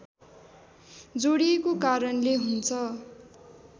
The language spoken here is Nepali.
जोडिएको कारणले हुन्छ